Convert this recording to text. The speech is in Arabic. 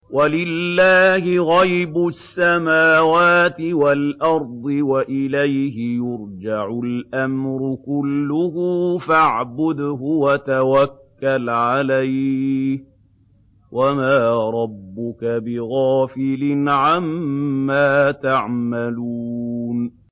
وَلِلَّهِ غَيْبُ السَّمَاوَاتِ وَالْأَرْضِ وَإِلَيْهِ يُرْجَعُ الْأَمْرُ كُلُّهُ فَاعْبُدْهُ وَتَوَكَّلْ عَلَيْهِ ۚ وَمَا رَبُّكَ بِغَافِلٍ عَمَّا تَعْمَلُونَ